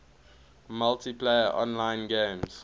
multiplayer online games